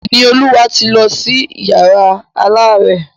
Ìníolúwa ti lọ sí yàrá alárẹ̀.